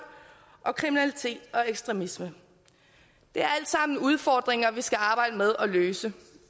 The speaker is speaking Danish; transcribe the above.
og kriminalitet og ekstremisme det er alt sammen udfordringer vi skal arbejde med at løse